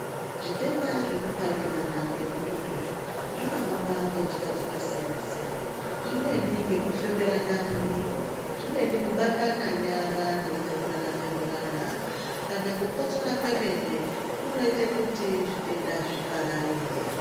Zvitenda zvekuparikirana ngemututu izvinohamba ngenjira dzakasiyana-siyana. Zvimweni ngekufemerana mumiro, zvimweni kubatana nyara mweitxeburana-txeburana. Kana kukotsora kwemene kunoita kuti zvitenda zvipararire.